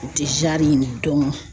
U tɛ dɔn.